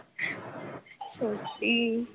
সত্যি